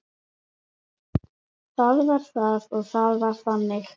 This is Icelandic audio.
Það var það og það var þannig.